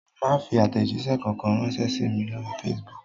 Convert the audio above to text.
Má fi àtẹ̀jíṣẹ́ kankan ránṣẹ́ sí mi lórí Facebook